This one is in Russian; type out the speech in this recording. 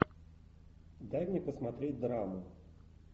дай мне посмотреть драму